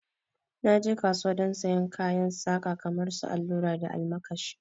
Na je kauwa don sayen kayan saka kamar su allura da almakashi